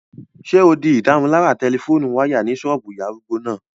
Ṣé o di ìdárunlárà tẹlifóònù wáyà ní ṣọ́ọ̀bù ìyá arúgbó náà?